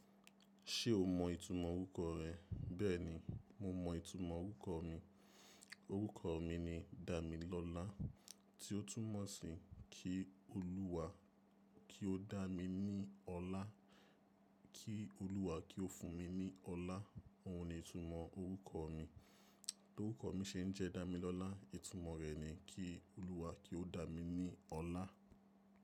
Ṣé o mọ ìtumọ̀ orúkọ rẹ? Bẹ́ẹ̀ni, mo mọ ìtumọ̀ orúkọ mi. Orúkọ mi ni Damilọ́lá, tí ó túmọ̀ sí kí Olúwa kí ó dá mi ní ọlá, kí Olúwa kí ó fún mi ní ọlá. Òhun ni ìtumọ̀ orúkọ mi. Torúkọ mi ṣe ń jẹ́ Damilọ́lá, ìtumọ̀ rẹ̀ ni kí Olúwa kí ó dá mi ní ọlá.